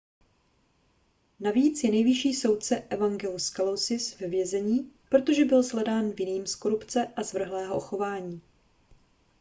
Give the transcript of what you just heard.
navíc je nejvyšší soudce evangelos kalousis ve vězení protože byl shledán vinným z korupce a zvrhlého chování